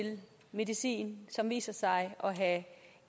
medicin som viser sig at have